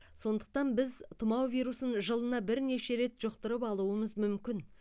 сондықтан біз тұмау вирусын жылына бірнеше рет жұқтырып алуымыз мүмкін